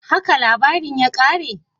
Haka labarin ya kare?